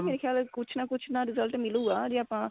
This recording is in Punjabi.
ਮੇਰੇ ਖਿਆਲ ਕੁੱਝ ਨਾ ਕੁੱਝ result ਮਿਲੁਗਾ ਜੇ ਆਪਾਂ